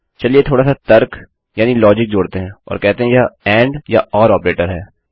चलिए थोडा सा तर्क यानि लोजिक जोड़ते हैं और कहते हैं यह एंड या ओर ऑपरेटर है